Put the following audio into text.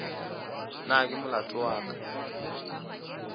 na ke molato wa ka